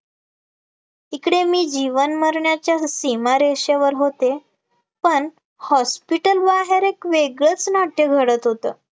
इकडे मी जीवन मरणाच्या सीमारेषेवर होते, पण hospital बाहेर एक वेगळच नाट्य घडत होतं,